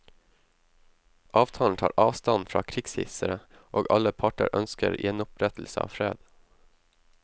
Avtalen tar avstand fra krigshissere, og alle parter ønsker gjenopprettelse av fred.